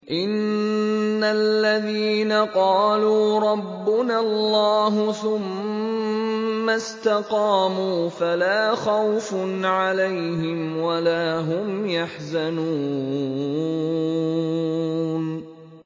إِنَّ الَّذِينَ قَالُوا رَبُّنَا اللَّهُ ثُمَّ اسْتَقَامُوا فَلَا خَوْفٌ عَلَيْهِمْ وَلَا هُمْ يَحْزَنُونَ